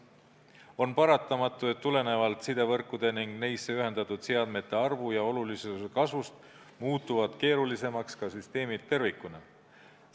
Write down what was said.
On paratamatu, et tulenevalt sidevõrkude ning neisse ühendatud seadmete arvu ja olulisuse kasvust muutuvad keerulisemaks ka süsteemid tervikuna.